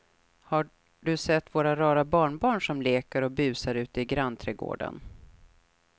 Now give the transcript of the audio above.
Har du sett våra rara barnbarn som leker och busar ute i grannträdgården!